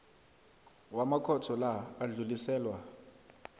wamakhotho la adluliselwa